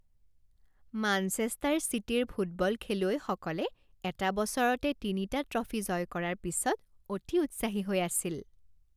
Manchester চিটিৰ football খেলুৱৈসকলে এটা বছৰতে তিনিটা ট্ৰফী জয় কৰাৰ পিছত অতি উৎসাহী হৈ আছিল।